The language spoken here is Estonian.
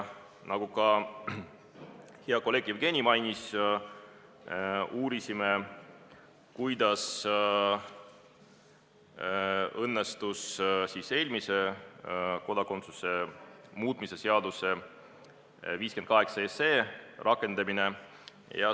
Nagu ka hea kolleeg Jevgeni mainis, me uurisime, kuidas on õnnestunud eelmise kodakondsuse muutmise seaduse rakendamine.